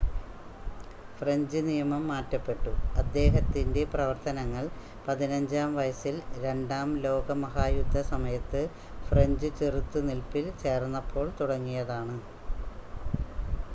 French നിയമം മാറ്റപ്പെട്ടു അദ്ദേഹത്തിൻ്റെ പ്രവർത്തനങ്ങൾ 15-ആം വയസ്സിൽ രണ്ടാം ലോക മഹായുദ്ധസമയത്ത് ഫ്രഞ്ച് ചെറുത്ത് നിൽപ്പിൽ ചേർന്നപ്പോൾ തുടങ്ങിയതാണ്